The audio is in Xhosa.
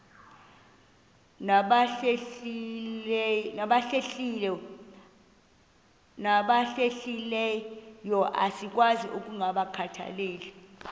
nabahlehliyo asikwazi ukungazikhathaieli